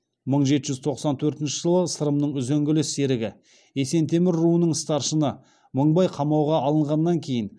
мың жеті жүз тоқсан төртінші жылы сырымның үзеңгілес серігі есентемір руының старшыны мыңбай қамауға алынғаннан кейін